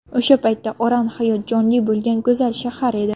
O‘sha paytda Oran hayot jonli bo‘lgan go‘zal shahar edi.